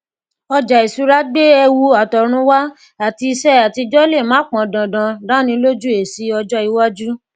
ọjà ìṣúra gbé ewu àtọrunwá àti iṣẹ àtijọ lè má pan dandan dánilójú esi ọjọ iwájú